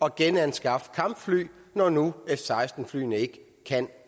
at genanskaffe kampfly når nu f seksten flyene ikke kan